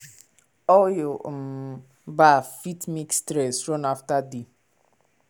oil um bath fit make stress run after day.